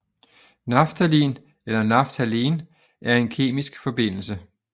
Naftalin eller Naphthalen er en kemisk forbindelse